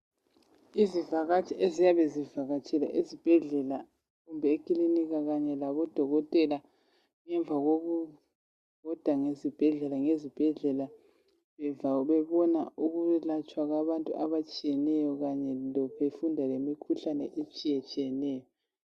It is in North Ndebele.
Izivakatshi eziyabe zivakatshile esibhedlela kumbe ekilinika kanye lakudokotela ngemva kokubhoda ngezibhedlela ngezibhedlela bebona ukwelatshwa kwabantu abatshiyeneyo kanye befunda lemikhuhlane etshiyetshiyeneyo.